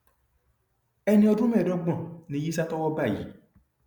ẹni ọdún mẹẹẹdọgbọn ni yisa tọwọ bá yìí